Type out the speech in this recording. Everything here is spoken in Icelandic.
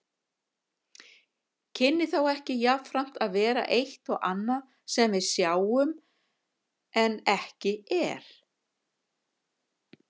Kynni þá ekki jafnframt að vera eitt og annað sem við sjáum en ekki er?